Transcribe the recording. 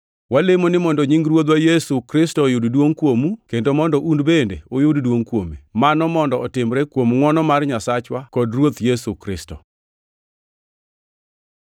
Walemo ni mondo nying Ruodhwa Yesu Kristo oyud duongʼ kuomu, kendo mondo un bende uyud duongʼ kuome. Mano mondo otimrenu kuom ngʼwono mar Nyasachwa kod Ruoth Yesu Kristo.